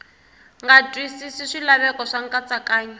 nga twisisi swilaveko swa nkatsakanyo